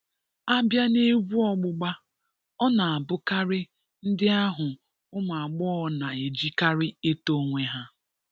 Abịa n’egwu ọgbụgba ọ na abụkari ndị ahụ ụmụagbọghọ na-ejikarị eto onwe ha.